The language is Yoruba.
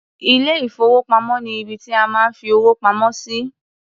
Ilé-ìfowópamọ́ ni ibi tí a máa ń fi owó pamọ́ sí.